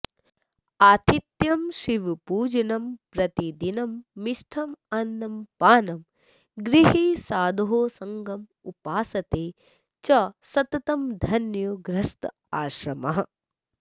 आतिथ्यं शिवपूजनं प्रतिदिनं मिष्टान्नपानं गृहे साधोः संगमुपासते च सततं धन्यो गृहस्थाश्रमः